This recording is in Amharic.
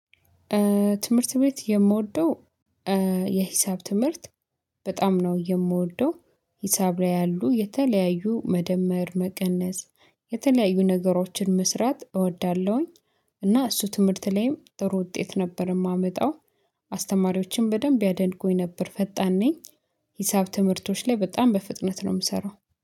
ትምህርት ቤት የምወደው የሂሳብ ትምህርት በጣም ነው የምወደው ሂሳብ ላይ ያሉ የተለያዩ መደመር መቀነስ የተለያዩ ነገሮችን መስራት እወዳለሁኝ እና እሱ ትምህርት ላይም ጥሩ ውጤት ነበረ። የማመጣው አስተማሪዎችን በደንብ ያደንቁኝ ነበር ፈጣን ነኝ። ሂሳብ ትምህርቶች ላይ በጣም በፍጥነት ነው የምሰራው